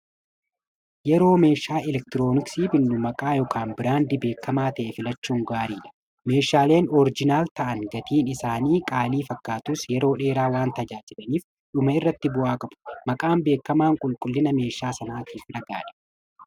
Yeroo meeshaa elektirooniksii binnu maqaa yookaan biraandii beekkamaa ta'e filachuun gaariidha meeshaaleen oorijinaal ta'an gatiin isaanii qaalii fakkaatus yeroo dheeraa waan tajaajilaniif dhuma irratti bu'aa qabu maqaan beekamaan qulqullina meeshaa sanaa tiif dhagaadha